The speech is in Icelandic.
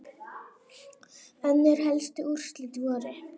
Önnur helstu úrslit voru